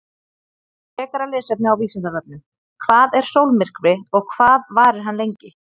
Frekara lesefni á Vísindavefnum: Hvað er sólmyrkvi og hvað varir hann lengi?